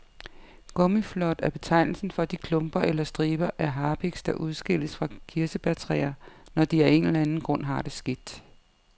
Gummiflåd er betegnelsen for de klumper eller striber af harpiks, der udskilles fra kirsebærtræer, når de af en eller anden grund har det skidt.